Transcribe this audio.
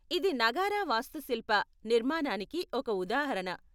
ఇది నగారా వాస్తుశిల్ప నిర్మాణానికి ఒక ఉదాహరణ .